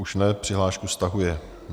Už ne, přihlášku stahuje.